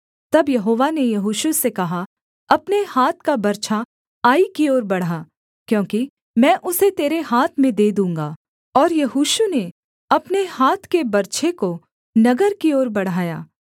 तब यहोवा ने यहोशू से कहा अपने हाथ का बर्छा आई की ओर बढ़ा क्योंकि मैं उसे तेरे हाथ में दे दूँगा और यहोशू ने अपने हाथ के बर्छे को नगर की ओर बढ़ाया